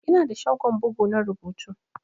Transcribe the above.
Ina da shagon bugu na rubutu.